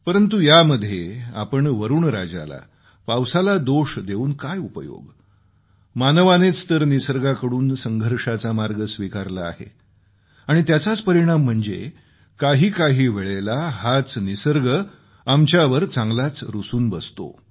परंतु आपण यामध्ये वरूणराजालापावसाला दोष देऊन काय उपयोग मानवानेच तर निसर्गाकडून संघर्षाचा मार्ग स्वीकारला आहे आणि त्याचाच परिणाम म्हणजे काही काही वेळेस हाच निसर्ग आमच्यावर चांगलाच रूसून बसतो